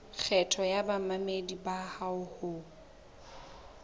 kgetho ya bamamedi bao ho